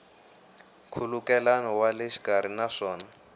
nkhulukelano wa le xikarhi naswona